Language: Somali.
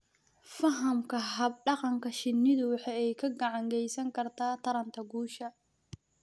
Fahamka hab-dhaqanka shinnidu waxa ay gacan ka geysan kartaa taranta guusha.